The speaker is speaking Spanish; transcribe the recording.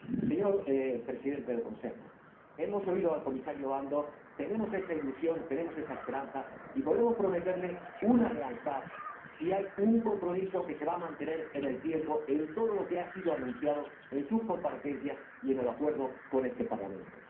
Señor Presidente de la Comisión, hemos oído al Comisario Andor y tenemos esa ilusión, tenemos esa esperanza, y podemos prometerle lealtad si hay un compromiso que se va a mantener con respecto a todo lo que se ha anunciado en sus comparecencias y en el Acuerdo con este Parlamento.